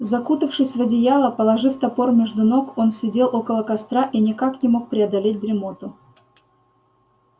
закутавшись в одеяло положив топор между ног он сидел около костра и никак не мог преодолеть дремоту